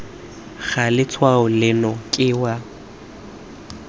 ga letshwao leno ke wa